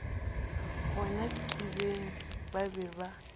gona kibeng ba be ba